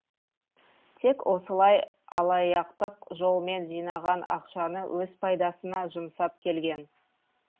тек осылай алаяқтық жолмен жинаған ақшаны өз пайдасына жұмсап келген